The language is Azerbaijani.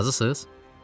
Razısınız?